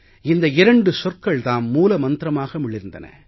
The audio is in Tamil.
இந்த இரண்டு சொற்கள் தாம் மூல மந்திரமாக மிளிர்ந்தன